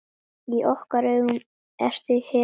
Í okkar augum ertu hetja.